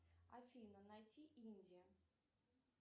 афина найти индия